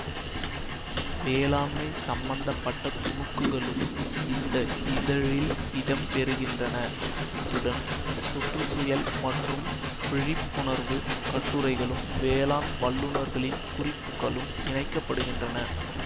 வேளாண்மை சம்மந்த பட்ட துணுக்குகளும் இந்த இதழில் இடம் பெருகின்றன அத்துடன் சுற்றுச்சூயல் பற்றி விழிப்புணர்வு கட்டுரைகளும் வேளாண் வல்லுனர்களின் குறிப்புகளும் இணைக்க படுகின்றன